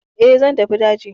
E, zan tafi daji.